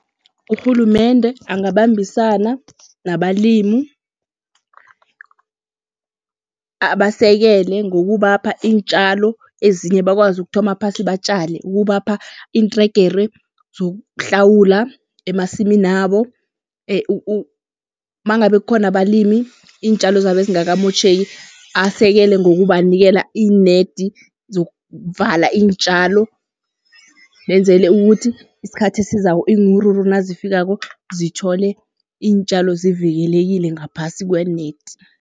Urhulumende angabambisana nabalimu, abasekele ngokubapha iintjalo, ezinye bakwazi ukuthoma phasi batjale. Ukubapha iintregere zokuhlawula emasiminabo, mangabe kukhona abalimi iintjalo zabo ezingakamotjheki asekele ngokubanikela iinedi zokuvala iintjalo. Benzele ukuthi isikhathi esizako iinwuruwuru nazifikako zithole iintjalo zivikelekile ngaphasi kwe-net.